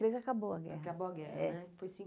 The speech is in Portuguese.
três acabou a guerra. Acabou a guerra, né? É foi